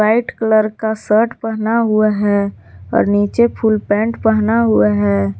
White colour का shirt पहना हुआ है और नीचे फूल पैंट पहना हुआ है।